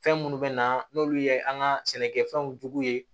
Fɛn minnu bɛ na n'olu ye an ka sɛnɛkɛfɛnw jogo ye